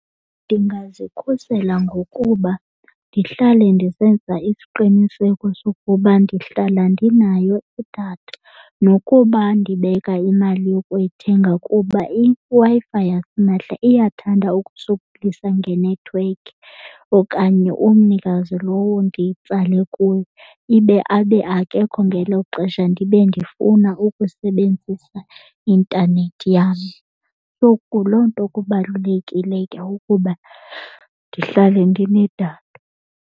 Ndingazikhusela ngokuba ndihlale ndisenza isiqiniseko sokuba ndihlala ndinayo idatha. Nokuba ndibeka imali yokuyithenga kuba iWi-Fi yasimahla iyathanda ukusokolisa ngenethiwekhi okanye umnikazi lowo ndiyitsale kuye ibe abe akekho ngelo xesha ndibe ndifuna ukusebenzisa intanethi yam. So, yiloo loo nto kubalulekile ukuba ndihlale ndinedatha.